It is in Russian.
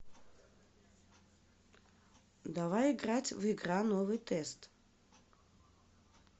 давай играть в игра новый тест